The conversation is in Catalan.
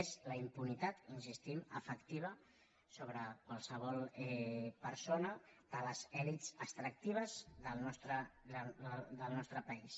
és la impunitat hi insistim efectiva sobre qualsevol persona de les elits extractives del nostre país